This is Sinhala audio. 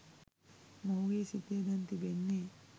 මොහුගේ සිතේ දැන් තිබෙන්නේ